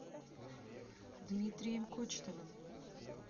дмитрием кочетовым